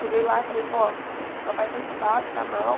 Cheguei lá e falei, vó, papai está entubado, está mal.